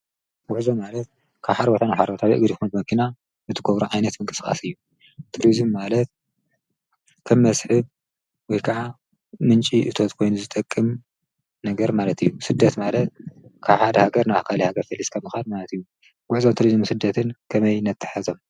ጐሕዞ ማለት ካብሓሪ ወታን ሓሮ ታቢዕግድ ኹኑ በኺና ብትጐብሮ ዓይነት ምንቅስቓስ እዩ ትርዝም ማለት ከም መስሕብ ወይ ከዓ ምንፂ እቶት ኮይኑ ዝጠቅም ነገር ማለት እዩ ስደት ማለት ካሓድ ሃገር ናብ ኸል ሃገር ፈሊስከምኻድ ማለት እዩ ጐዕዞ ትርዙ ምስደትን ከመይ ነተሐዞም።